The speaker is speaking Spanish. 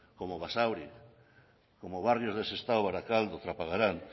como basauri como barrios de sestao barakaldo trapagaran